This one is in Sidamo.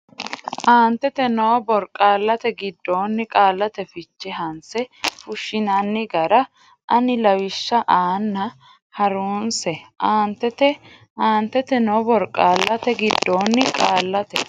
aantete noo borqaallate giddonni qaallate fiche hanse fushshinanni gara ani lawishsha aanna ha runse aantete aantete noo borqaallate giddonni qaallate.